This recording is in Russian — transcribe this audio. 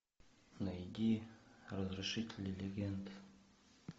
найди разрушители легенд